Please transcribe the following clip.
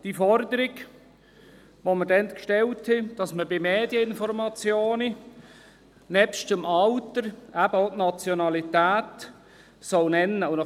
Die Forderung, welche dazumal gestellt wurde, war, dass bei Medieninformationen nebst dem Alter auch die Nationalität genannt werden soll.